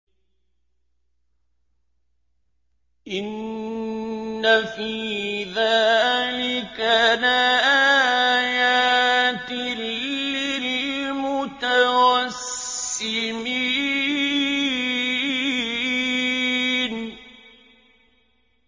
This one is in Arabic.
إِنَّ فِي ذَٰلِكَ لَآيَاتٍ لِّلْمُتَوَسِّمِينَ